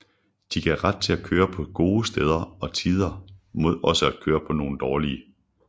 De gav ret til at køre på gode steder og tider mod også at køre på nogle dårlige